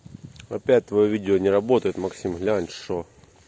опять твоё видео не работает максим глянь что